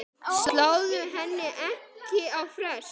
Sláðu henni ekki á frest.